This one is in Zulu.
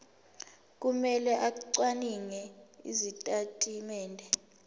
kumele acwaninge izitatimende